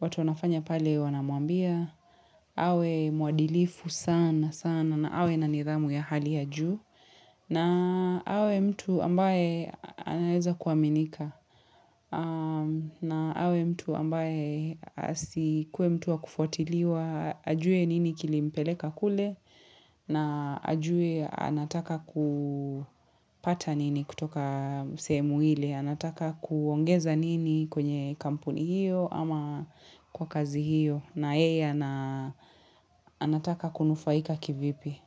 watu wanafanya pale wanamwambia. Awe muadilifu sana sana na awe na nidhamu ya hali ya juu. Na awe mtu ambaye anaeza kuaminika. Na awe mtu ambaye asikuwe mtu wa kufuatiliwa, ajue nini kilimpeleka kule, na ajue anataka kupata nini kutoka sehemu ile, anataka kuongeza nini kwenye kampuni hio ama kwa kazi hio, na ye ana anataka kunufaika kivipi.